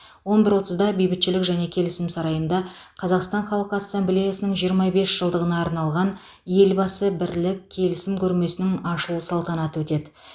он бір отызда бейбітшілік және келісім сарайында қазақстан халқы ассамблеясының жиырма бес жылдығына арналған елбасы бірлік келісім көрмесінің ашылу салтанаты өтеді